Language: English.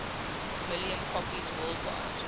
million copies worldwide